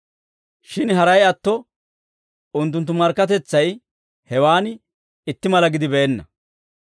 Shin haray atto unttunttu markkatetsay hewaan itti mala gidibeenna.